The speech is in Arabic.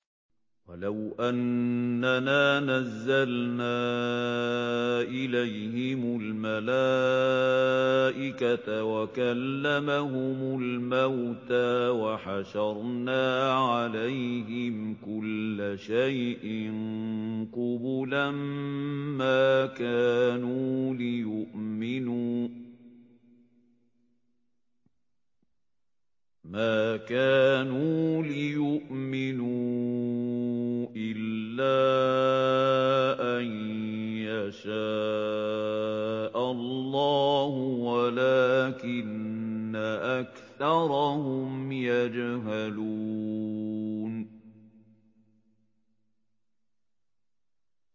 ۞ وَلَوْ أَنَّنَا نَزَّلْنَا إِلَيْهِمُ الْمَلَائِكَةَ وَكَلَّمَهُمُ الْمَوْتَىٰ وَحَشَرْنَا عَلَيْهِمْ كُلَّ شَيْءٍ قُبُلًا مَّا كَانُوا لِيُؤْمِنُوا إِلَّا أَن يَشَاءَ اللَّهُ وَلَٰكِنَّ أَكْثَرَهُمْ يَجْهَلُونَ